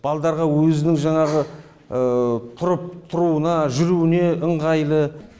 балдарға өзінің жаңағы тұрып тұруына жүруіне ыңғайлы